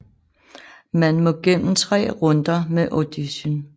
Man må gennem tre runder med audition